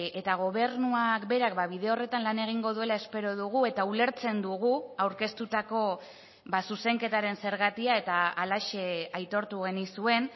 eta gobernuak berak bide horretan lan egingo duela espero dugu eta ulertzen dugu aurkeztutako zuzenketaren zergatia eta halaxe aitortu genizuen